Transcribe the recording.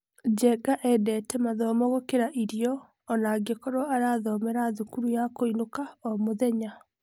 Njenga endete mathomo gũkĩra irio onangĩkorwo arathomera thukuru ya kũinũka o-mũthenya.